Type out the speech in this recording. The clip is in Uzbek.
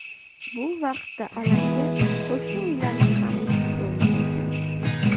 Bu vaqtda alanga qo‘shni uylarga ham o‘tishga ulgurgan.